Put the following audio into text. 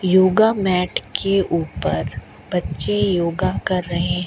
yoga mat के ऊपर बच्चे योगा कर रहें--